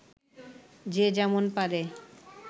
যে যেমন পারে